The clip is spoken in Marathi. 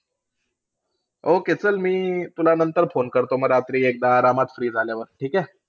Okay चल, मी तुला नंतर phone करतो, मग रात्री एकदा आरामात free झाल्यावर. ठीक आहे?